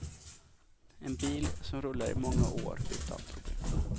En bil som rullar i många år utan problem.